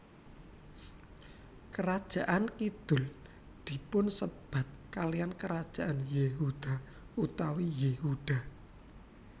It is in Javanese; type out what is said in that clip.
Kerajaan kidhul dipunsebat kaliyan kerajaan Yehuda utawi Yehuda